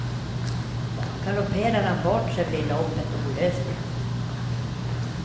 Galopperar han bort sig, blir loppet olösligt.